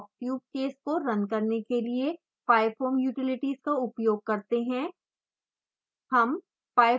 हम shock tube case को run करने के लिए pyfoam utilities का उपयोग करते हैं